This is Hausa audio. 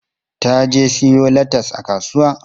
Ta je siyo latas a kasuwa.